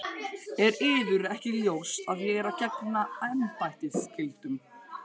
Er yður ekki ljóst að ég er að gegna embættisskyldum?